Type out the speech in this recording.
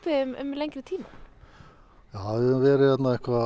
um lengri tíma já við höfum verið hérna